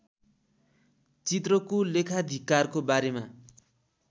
चित्रको लेखाधिकारको बारेमा